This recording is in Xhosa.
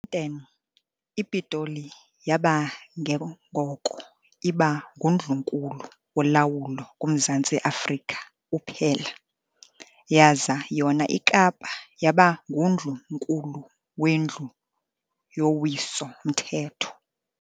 10, iPitoli yaba ke ngoko iba nguNdlunkulu wolawulo kuMzantsi Afrika uphela, yaza yona iKapa yaba ngundlu-nkulu wendlu yowiso-Mthetho.